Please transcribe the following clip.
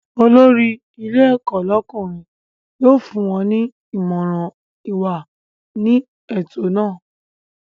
Olórí ilé ẹ̀kọ́ lọ́kùnrin yóò fún wọ́n ní Ìmọ̀ràn ìwà ní ètò naa